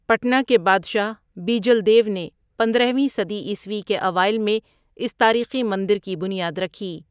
پٹنہ کے بادشاہ بیجل دیو نے پندرہ ویں صدی عیسوی کے اوائل میں اس تاریخی مندر کی بنیاد رکھی۔